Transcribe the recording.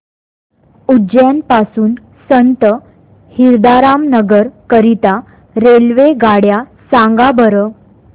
उज्जैन पासून संत हिरदाराम नगर करीता रेल्वेगाड्या सांगा बरं